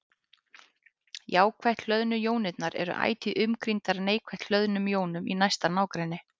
Jákvætt hlöðnu jónirnar eru ætíð umkringdar neikvætt hlöðnum jónum í næsta nágrenni.